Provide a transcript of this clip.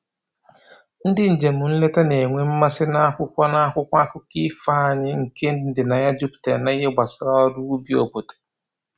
Ndị njem nleta na-enwe mmasị n'akwụkwọ n'akwụkwọ akụkọ ifo anyị nke ndịna ya juputara n'ihe gbasara ọrụ ubi obodo